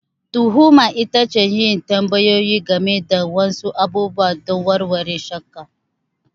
Tuhuma ita ce yin tambayoyi game da wasu abubuwa don warware shakka.